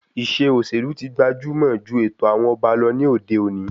Ìṣe òṣèlú tí gbajumọ ju ètò àwọn ọba ní òde òni